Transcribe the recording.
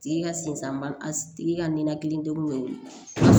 Tigi ka sen san a tigi tigi ka ninakilidenw be wili